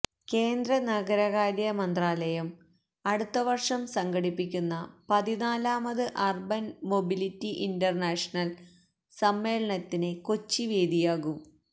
കേന്ദ്ര നഗരകാര്യ മന്ത്രാലയം അടുത്തവര്ഷം സംഘടിപ്പിക്കുന്ന പതിനാലാമത് അര്ബന് മൊബിലിറ്റി ഇന്റര്നാഷണല് സമ്മേളനത്തിന് കൊച്ചി വേദിയാകും